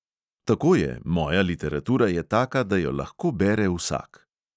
Tako je, moja literatura je taka, da jo lahko bere vsak.